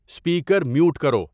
speaker mute کرو